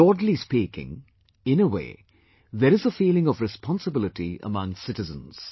Broadly speaking in a way, there is a feeling of responsibility amongst citizens